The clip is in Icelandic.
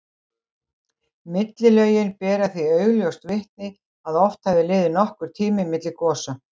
Millilögin bera því augljóst vitni að oft hafi liðið nokkur tími milli gosa.